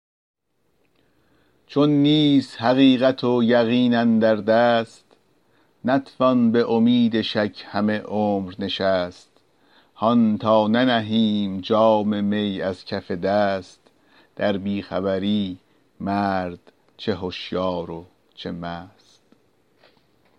چون نیست حقیقت و یقین اندر دست نتوان به امید شک همه عمر نشست هان تا ننهیم جام می از کف دست در بی خبری مرد چه هشیار و چه مست